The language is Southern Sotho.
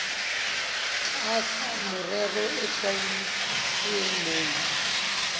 tlasa merero e hlwauweng mona